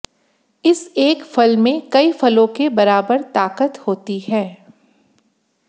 इस एक फल में कई फलों के बराबर ताकत होती है